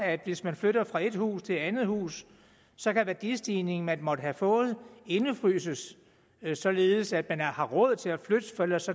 at hvis man flytter fra et hus til et andet hus så kan værdistigningen man måtte have fået indefryses således at man har råd til at flytte for ellers